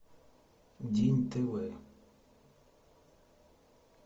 день тв